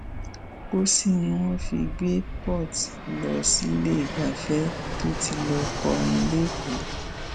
pósí ni wọn fi gbé port lọ sílẹẹgbafẹ tó ti lọọ kọrin lẹkọọ